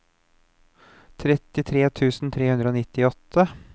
trettitre tusen tre hundre og nittiåtte